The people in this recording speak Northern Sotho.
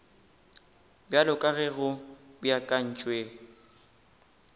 bjalo ka ge go beakantšwe